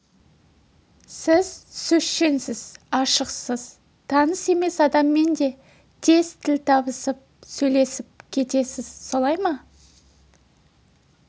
сіз сөзшеңсіз ашықсыз таныс емес адаммен де тез тіл табысып сөйлесіп кетесіз солай ма